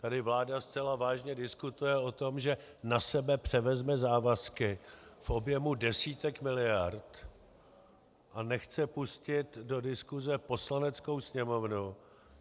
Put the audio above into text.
Tady vláda zcela vážně diskutuje o tom, že na sebe převezme závazky v objemu desítek miliard, a nechce pustit do diskuse Poslaneckou sněmovnu.